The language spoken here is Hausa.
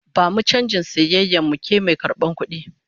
Bamu canjin sayayyar mu, ke mai karbar kudi!